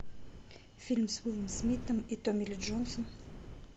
фильм с уиллом смитом и томми ли джонсом